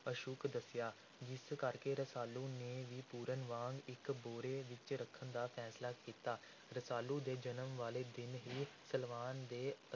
ਅਸ਼ੁੱਭ ਦੱਸਿਆ, ਜਿਸ ਕਰਕੇ ਰਸਾਲੂ ਨੇ ਵੀ ਪੂਰਨ ਵਾਂਗ ਇਕ ਭੋਰੇ ਵਿਚ ਰੱਖਣ ਦਾ ਫੈਸਲਾ ਕੀਤਾ। ਰਸਾਲੂ ਦੇ ਜਨਮ ਵਾਲੇ ਦਿਨ ਹੀ ਸਲਵਾਨ ਦੇ